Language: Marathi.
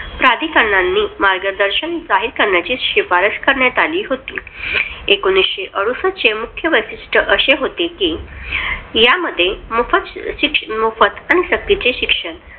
प्राधिकरणांना मार्गदर्शन जाहीर करण्याची शिफारस करण्यात आली होती. एकोणविशे अडुसष्ट मुख्य वैशिष्ट्य अशे होते कि यांमध्ये मोफत मोफत आणि सक्तीचे शिक्षण